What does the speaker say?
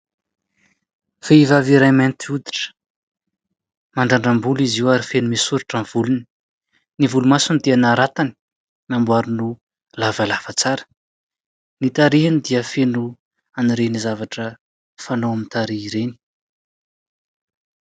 Vehivavy iray mainty oditra ; mandrandram-bolo izy io ary feno misoritra ny volony, ny volomasony dia naratany namboary ho lavalava tsara. Ny tarehiny dia feno anireny zavatra fanao amin'ny tarehy ireny.